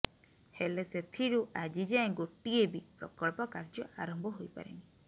ହେଲେ ସେଥିରୁ ଆଜିଯାଏଁ ଗୋଟିଏ ବି ପ୍ରକଳ୍ପ କାର୍ଯ୍ୟ ଆରମ୍ଭ ହୋଇପାରିନି